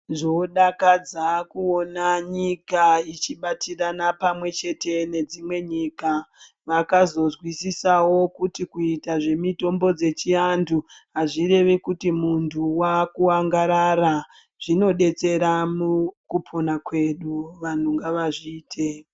Zvodakadza kuona nyika ichibatirana pamwechete nedzimwe nyika vakazozwisisawo kuti kuita zvemitombo dzechiantu azvirevi kuti muntu wakuangarara ,zvinobetsera mukupona kwedu vanhu ngavazviite.